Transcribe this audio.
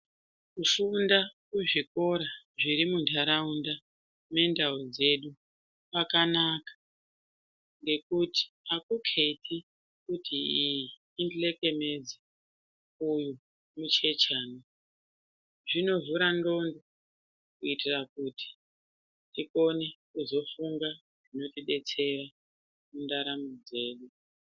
Kufunda kuzvikora zviri muntaraunda mendau dzedu kwakanaka ngekuti hakuketi kuti iyi ihlekenedzo, uyu muchechana. Zvinovhura ndxondo kuitira kuti tikone kuzofunga zvinotidetsera mundaramo dzedu.